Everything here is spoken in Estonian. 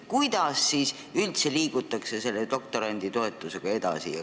Kuidas üldse liigutakse doktoranditoetusega edasi?